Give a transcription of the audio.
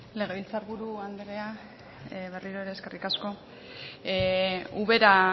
legebiltzar buru andrea berriro ere eskerrik asko ubera